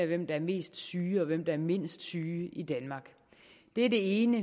hvem der er mest syg og hvem der er mindst syg i danmark det er det ene